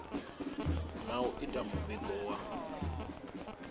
na u ita muvhigo wa